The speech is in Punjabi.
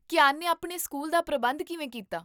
ਕੀਆਨ ਨੇ ਆਪਣੇ ਸਕੂਲ ਦਾ ਪ੍ਰਬੰਧ ਕਿਵੇਂ ਕੀਤਾ?